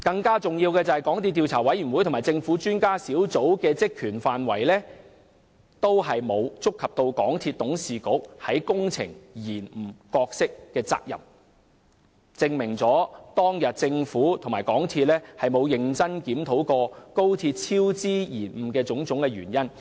更重要的是，港鐵公司的調查委員會和政府專家小組的職權範圍，均沒有觸及港鐵公司董事局在高鐵工程延誤上的角色和責任，證明政府和港鐵公司沒有認真檢討高鐵工程超支延誤的種種原因。